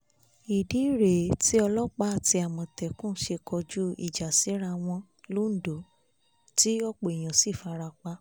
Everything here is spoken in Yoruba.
ìdí rèé tí ọlọ́pàá àti àmọ̀tẹ́kùn ṣe kọjú ìjà síra wọn londo tí ọ̀pọ̀ èèyàn sì farapa